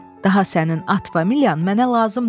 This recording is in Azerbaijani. Daha sənin at familiyan mənə lazım deyil,